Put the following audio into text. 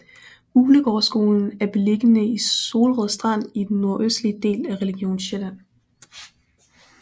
Uglegårdsskolen er beliggende i Solrød Strand i den nordøstlige del af Region Sjælland